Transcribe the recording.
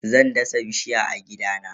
Zan dasa bishiya a gidana.